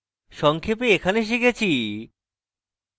সংক্ষেপে এখানে শিখেছি